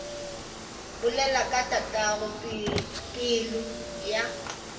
bolela ka tatago pelo ya